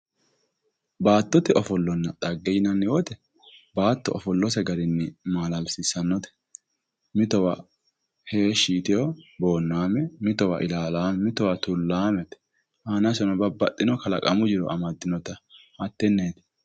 baattonna dhage yinanni woyte baatto ofollose garinni maalalsiissannote mitowa heeshshi yitanno boonnaame mitowa tullaammete aanaseno babbaxino kalaqamu jiro amaddinota hattenneeti